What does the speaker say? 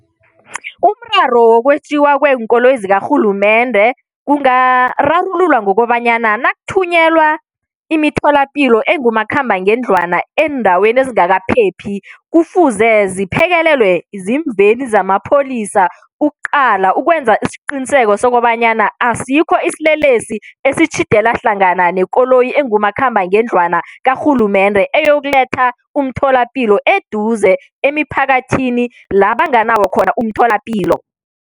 Umraro wokwetjiwa kweenkoloyi zikarhulumende kungararululwa ngokobanyana nakuthunyelwa imitholapilo engumakhambangendlwana eendaweni ezingakaphephi, kufuze ziphekelelwe ziimveni zamapholisa, ukuqala, ukwenza isiqiniseko sokobanyana asikho isilelesi esitjhidela hlangana nekoloyi engumakhambangendlwana karhulumende eyokuletha umtholapilo eduze emiphakathini la banganawo khona umtholapilo.